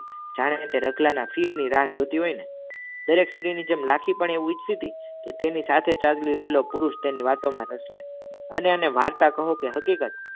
જાણે તે રતલા ના ફીર ની રાહ જોતી હોય ને દરેક સ્ત્રી ની જેમ લાખી તેમ ઊચકીતી તને સાથે રહલો પુરુસ તણી વાતો મા અને તને વાર્તા કહો કે હકીકત